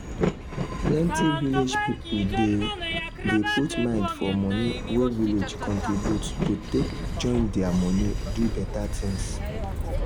plenty village people dey dey put mind for money wey village contribute to take join their money do better things